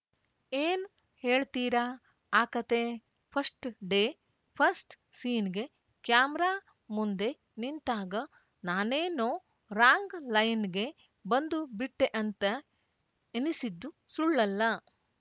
ಏನ್‌ ಹೇಳ್ತೀರಾ ಆ ಕತೆ ಫಸ್ಟ್‌ ಡೇ ಫಸ್ಟ್‌ ಸೀನ್‌ಗೆ ಕ್ಯಾಮರಾ ಮುಂದೆ ನಿಂತಾಗ ನಾನೇನೋ ರಾಂಗ್‌ ಲೈನ್‌ಗೆ ಬಂದು ಬಿಟ್ಟೆಅಂತ ಎನಿಸಿದ್ದು ಸುಳ್ಳಲ್ಲ